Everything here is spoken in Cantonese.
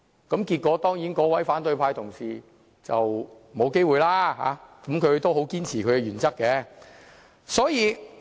結果那位反對派同事當然沒有機會，但他依然堅持他的原則。